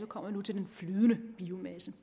kommer nu til den flydende biomasse